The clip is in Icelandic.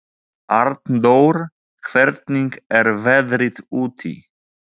Arndór, hvernig er veðrið úti?